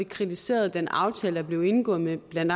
kritiseret den aftale der blev indgået med blandt